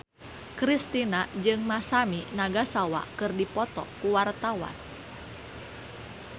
Kristina jeung Masami Nagasawa keur dipoto ku wartawan